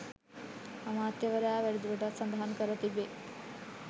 අමාත්‍යවරයා වැඩිදුරටත් සඳහන් කර තිබේ